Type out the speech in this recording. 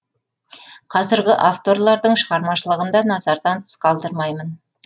қазіргі авторлардың шығармашылығын да назардан тыс қалдырмаймын